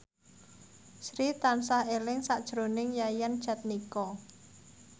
Sri tansah eling sakjroning Yayan Jatnika